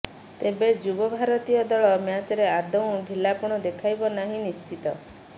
ତେବେ ଯୁବ ଭାରତୀୟ ଦଳ ମ୍ୟାଚରେ ଆଦୌ ଢିଲାପଣ ଦେଖାଇବ ନାହିଁ ନିଶ୍ଚୟ